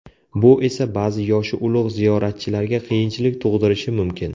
Bu esa ba’zi yoshi ulug‘ ziyoratchilarga qiyinchilik tug‘dirishi mumkin.